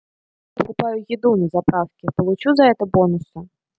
покупаю еду на заправке получу за это бонусы